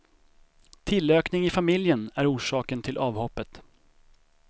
Tillökning i familjen är orsaken till avhoppet.